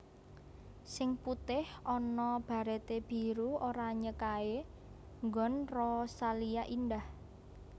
Sing putih ono barete biru oranye kae nggon Rosalia Indah